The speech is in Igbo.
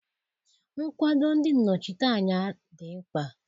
Nkwado ndị nnọchiteanya dị mkpa